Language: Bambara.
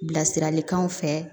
Bilasiralikanw fɛ